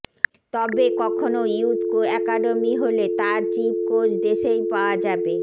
তবে কখনও youth academy হলে তার চিফ কোচ দেশেই পাওয়া যাবে